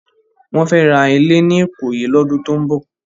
Wòn fè rá ilé ni Ikoyi lòdún tó n bò